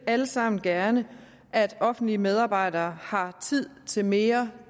alle sammen gerne at offentlige medarbejdere har tid til mere